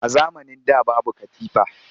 A zamanin da babu katifa